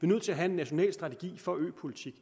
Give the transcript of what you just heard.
nødt til at have en national strategi for øpolitik